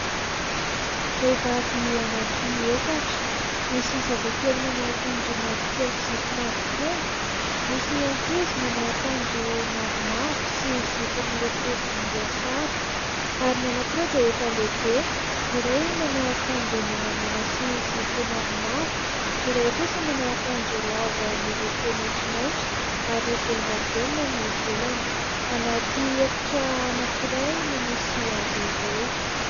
vehivavy efatra misy zazakely manao ankanjo mavokely sy zipo mavo kely. Misy ankizy manao ankanjo mavomavo sy zipo miloko volomboasary ary ny ankiroa dia efa lehibe ny iray manao ankanjo menamena sy zipo mavomavo ny iray kosa manao ankanjo lava miloko maintsomaintso ary volon-davenina ny velany anaty efitra ankiray no misy azo ireo.